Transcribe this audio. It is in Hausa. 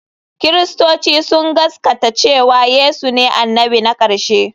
Kiristoci sun gaskata cewa Yesu ne annabi na ƙarshe.